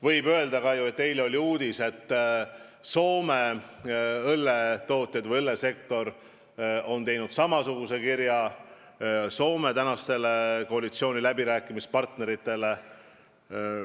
Võib öelda ka, et eile oli uudis, et Soome õlletootjad, õllesektor on saatnud samasisulise kirja Soome praeguste koalitsiooniläbirääkimiste partneritele.